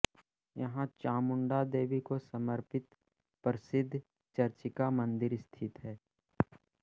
यहाँ चामुंडा देवी को समर्पित प्रसिद्ध चर्चिका मंदिर स्थित है